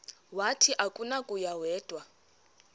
wathi akunakuya wedw